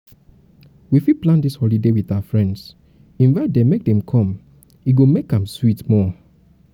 we fit plan dis holiday with our friends invite dem make dem come e go make am sweet more.